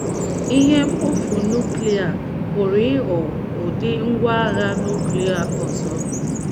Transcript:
Ihe mkpofu núklia pụrụ ịghọ um ụdị ngwá agha nuklia ọzọ.